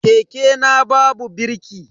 Keke na babu birki.